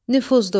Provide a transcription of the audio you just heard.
Nüfuzlu.